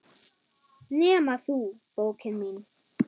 Nema þú, bókin mín.